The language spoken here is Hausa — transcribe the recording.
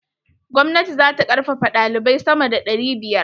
Gwamnati za ta karfafaɗalibai sama da ɗari biyar.